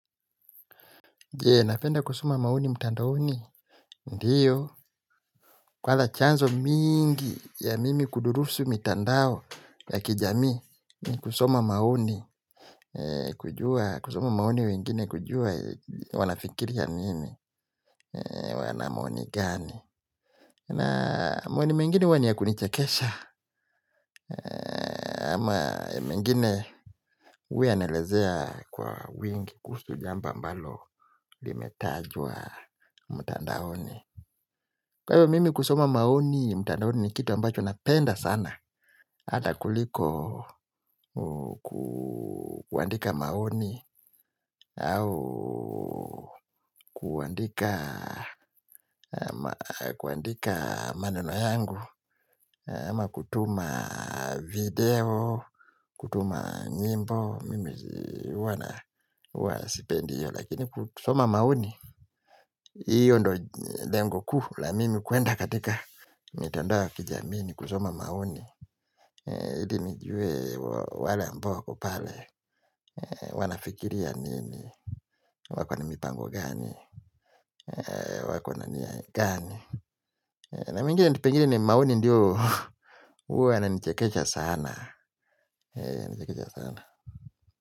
Jee, napenda kusoma maoni mtandaoni? Ndiyo, kwanza chanzo mingi ya mimi kudurusu mitandao ya kijamii ni kusoma maoni, kujua, kusoma maoni wengine kujua wanafikiria nini, wana maoni gani na maoni mengine huwa ni ya kunichekesha ama mengine huwa yanaelezea kwa wingi kuhusu jambo ambalo limetajwa mtandaoni kwa hivyo mimi kusoma maoni, mtandaoni ni kitu ambacho napenda sana, ata kuliko kuandika maoni, au kuandika maneno yangu, ama kutuma video, kutuma nyimbo, mimi huwa, huwa sipendi hiyo, lakini kusoma maoni, hiyo ndo lengo kuu la mimi kwenda katika mitandao ya kijamii ni kusoma maoni ili nijue wale ambao waki pale wanafikiria nini wako na mipango gani wako na nia gani na pengine ni maoni ndiyo huwa yananichekesha sana. Nichekesha sana.